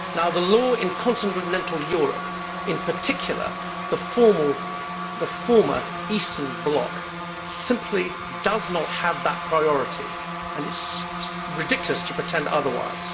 The law in continental Europe, in particular, the former Eastern bloc, simply does not have that priority and it is ridiculous to pretend otherwise.